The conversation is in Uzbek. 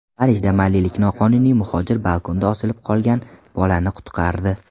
Parijda malilik noqonuniy muhojir balkonda osilib qolgan bolani qutqardi .